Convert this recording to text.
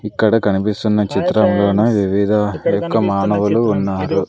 ఇక్కడ కనిపిస్తున్న చిత్రంలోన వివిద యొక్క మానవులు ఉన్నారు.